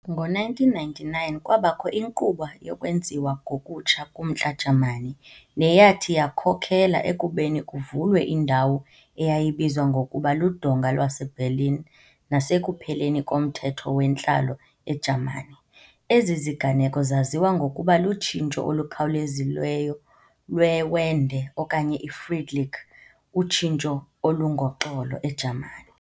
Ngo-1999 kwabakho inkqubo yokwenziwa ngokutsha kumntla Jamani, neyathi yakhokhelela ekubeni kuvulwe indawo eyayibizwa ngokuba luDonga lwaseBerlin nasekupheleni komthetho wentlalo eJamani. Ezi ziganeko zaziwa ngokokuba lutshintsho olukhawulezileyo lwe Wende okanye iFriedliche, utshintsho olungoxolo, eJamani.